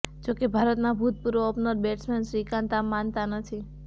જો કે ભારતના ભૂતપૂર્વ ઓપનર બેટ્સમેન શ્રીકાંત આમ માનતા નથી